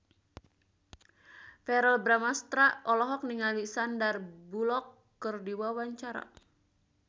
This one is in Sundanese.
Verrell Bramastra olohok ningali Sandar Bullock keur diwawancara